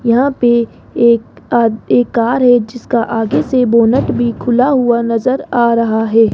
यहां पे एक आ कार है जिसका आगे से बोनट भी खुला हुआ नज़र आ रहा है।